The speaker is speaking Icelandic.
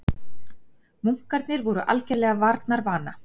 Munkarnir voru algerlega varnarvana.